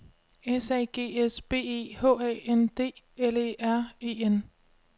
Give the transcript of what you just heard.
S A G S B E H A N D L E R E N